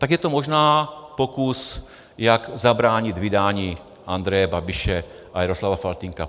Tak je to možná pokus, jak zabránit vydání Andreje Babiše a Jaroslava Faltýnka.